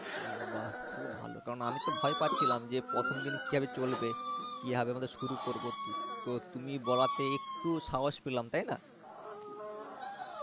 ও বাহঃ তাহলে তো ভালো কারণ আমিতো ভয় পাচ্ছিলাম যে প্রথম দিন কিভাবে চলবে কিভাবে শুরু করবো তো তুমি বলাতে একটু সাহস পেলাম তাইনা?